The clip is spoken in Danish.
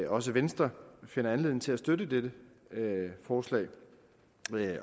også venstre finder anledning til at støtte dette forslag